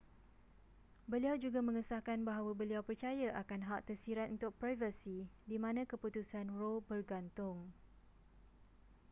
beliau juga mengesahkan bahawa beliau percaya akan hak tersirat untuk privasi di mana keputusan roe bergantung